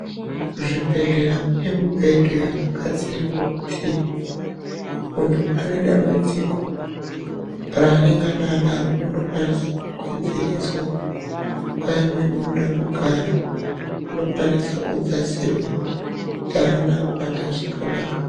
Kuzvibhedhleya kune mibhedhu yakagadzirirwa kuti muntu ane dambudziko ,raanengana anaro unokwanise kugadzirirwa, nguwa imweni unoda kugara unokwanisa kudzasirwa, kuti aona kuwata zvakanaka.